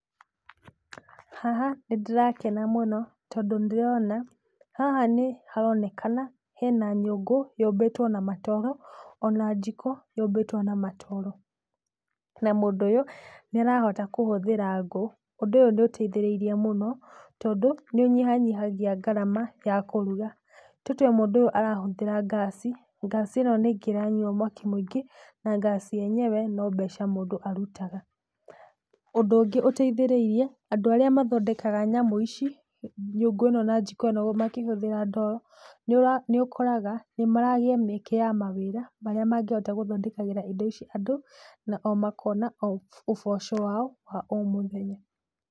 Haha nĩndĩrakena mũno tondũ nĩndĩrona, haha nĩharonekana hena nyũngũ yũmbĩtwo na matoro ona jiko yũmbĩtwo na matoro. Na mũndũ ũyũ nĩarahota kũhũthĩra ngũ. Ũndũ ũyũ nĩ ũteithĩrĩirie mũno tondũ nĩ ũnyihanyihagĩa ngarama ya kũruga. Tũtue mũndũ ũyũ arahũthĩra gas, gas ĩno nĩ ĩngĩranyua mwaki mũingĩ na gas yenyewe no mbeca mũndũ arutaga. Ũndũ ũngĩ ũteithĩrĩirie, andũ arĩa mathondekaga nyamũ ici, nyũngũ ĩno na jiko ĩno makĩhũthĩra ndoro, nĩũra, nĩũkoraga nĩmaragĩa mĩeke ya mawĩra, marĩa mangĩhota gũthondekagĩra indo ici andũ, na o makona o ũboco wao wa o mũthenya.